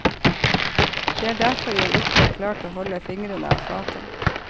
Det er derfor jeg ikke har klart å holde fingrene av fatet.